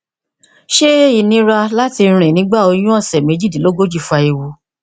ṣẹ ìnira àti rìn nígbà oyún ọsẹ méjìdínlógójì fa ewu